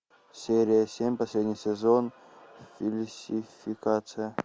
серия семь последний сезон фальсификация